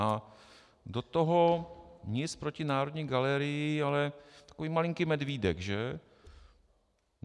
A do toho - nic proti Národní galerii, ale takový malinký medvídek, že?